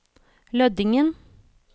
Lødingen